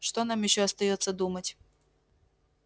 что нам ещё остаётся думать